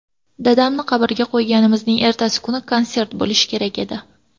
Dadamni qabrga qo‘yganimizning ertasi kuni konsert bo‘lishi kerak edi.